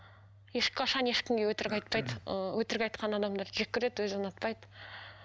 ешқашан ешкімге өтірік айтпайды ыыы өтірік айтқан адамдарды жеккөреді өзі ұнатпайды